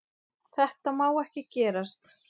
Þetta má ekki gerast.